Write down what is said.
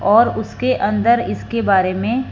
और उसके अंदर इसके बारे में--